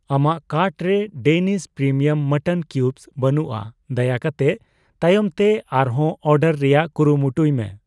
ᱟᱢᱟᱜ ᱠᱟᱨᱴ ᱨᱮ Denis premium mutton cubes ᱵᱟᱹᱱᱩᱜᱼᱟ, ᱫᱟᱭᱟ ᱠᱟᱛᱮ ᱛᱟᱭᱚᱢ ᱛᱮ ᱟᱨ ᱦᱚᱸ ᱚᱨᱰᱟᱨ ᱨᱮᱭᱟᱜ ᱠᱩᱨᱩᱢᱩᱴᱩᱭ ᱢᱮ ᱾